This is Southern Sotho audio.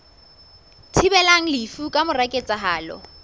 thibelang lefu ka mora ketsahalo